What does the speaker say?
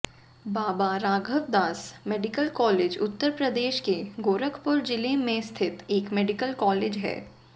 बाबा Raghavdas medical college Uttar Pradesh के गोरखपुर जिले में स्थित एक मेडिकल कॉलेज है